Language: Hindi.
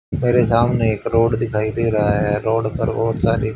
मेरे सामने एक रोड दिखाई दे रहा है रोड पर और सारे--